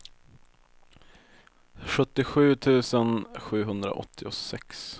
sjuttiosju tusen sjuhundraåttiosex